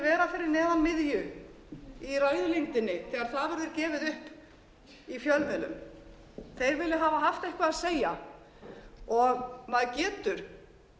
vera fyrir neðan miðju í ræðulengdinni þegar það verður gefið upp í fjölmiðlum þeir vilja hafa haft eitthvað að segja og maður getur